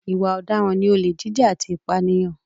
Ìwà ọ̀daràn ni olè jíjà àti ìpànìyàn.